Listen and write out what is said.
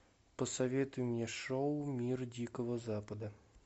посоветуй мне шоу мир дикого запада